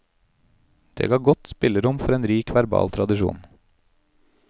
Det ga godt spillerom for en rik verbal tradisjon.